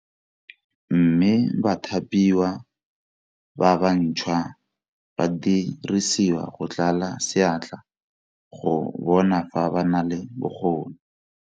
Mme bathapiwa ba bantšhwa ba dirisiwa go tlala seatla go bona fa ba na le bokgoni.